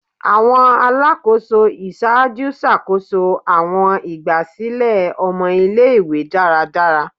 Awọn Alakoso iṣaaju ṣakoso awọn igbasilẹ ọmọ ile-iwe daradara